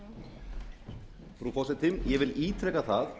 frú forseti ég vil ítreka að það